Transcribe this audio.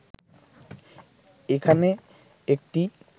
এখানে একটি